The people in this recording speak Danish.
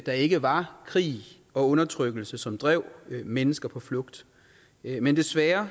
der ikke var krig og undertrykkelse som drev mennesker på flugt men desværre